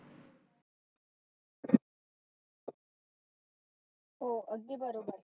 हो अगदी बरोबर.